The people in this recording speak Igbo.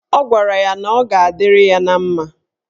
Ọ gwara ya na ọ ga-adịrị ya na mma.